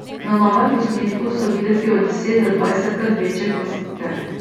Na novem posnetku so videti od deset do dvajsetkrat večje kot sicer.